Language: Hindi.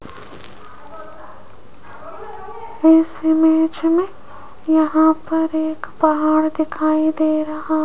इस इमेज में यहां पर एक पहाड़ दिखाई दे रहा --